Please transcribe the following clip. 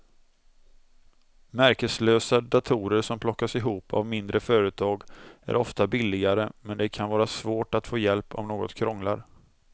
Märkeslösa datorer som plockas ihop av mindre företag är ofta billigare men det kan vara svårt att få hjälp om något krånglar.